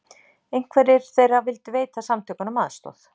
Einhverjir þeirra vildu veita samtökunum aðstoð